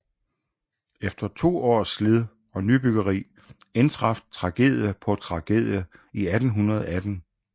Efter to års slid og nybyggeri indtraf tragedie på tragedie i 1818